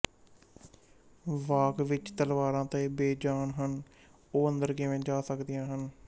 ਵਾਕ ਵਿੱਚ ਤਲਵਾਰਾਂ ਤਾਂ ਬੇਜਾਨ ਹਨ ਉਹ ਅੰਦਰ ਕਿਵੇ ਆ ਸਕਦੀਆਂ ਹਨ